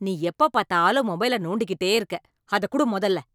நீ எப்பப் பாத்தாலும் மொபைல நோண்டிகிட்டே இருக்க, அதக் குடு மொதல்ல